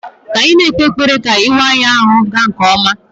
Ka anyị na-ekpe ekpere ka ịwa ya ahụ gaa nke ọma